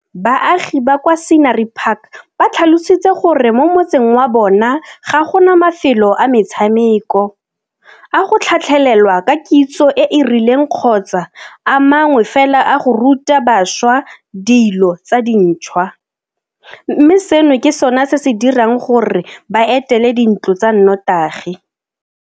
Baagi ba kwa Scenery Park ba tlhalositse gore mo motseng wa bona ga gona mafelo a metshameko, a go tlhatlhelelwa ka kitso e e rileng kgotsa a mangwe fela a go ruta bašwa dilo tse dintšhwa, mme seno ke sona se se dirang gore ba etele dintlo tsa notagi.